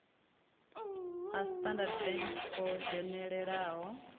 a standard bank o dzhenelelaho